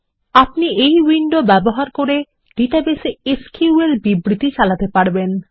আপনি এই উইন্ডো ব্যবহার করে ডাটাবেসে এসকিউএল বিবৃতি চালাতে পারেন